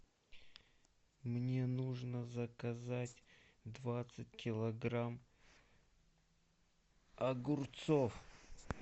мне нужно заказать двадцать килограмм огурцов